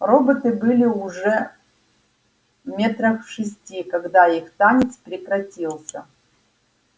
роботы были уже метрах в шести когда их танец прекратился